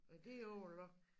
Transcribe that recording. Er dét overlock